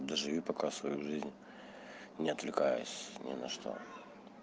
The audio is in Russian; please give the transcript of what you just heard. доживи пока свою жизнь не отвлекаясь ни на что